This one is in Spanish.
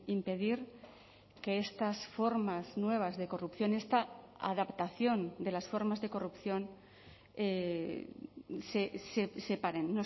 impedir que estas formas nuevas de corrupción esta adaptación de las formas de corrupción se paren